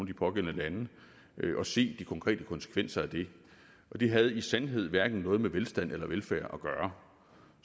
de pågældende lande og se de konkrete konsekvenser af det det havde i sandhed hverken noget med velstand eller velfærd at gøre